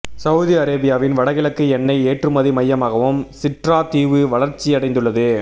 Saudi அரேபியாவின் வடகிழக்கு எண்ணெய் ஏற்றுமதி மையமாகவும் சிட்ரா தீவு வளர்ச்சியடைந்துள்ளது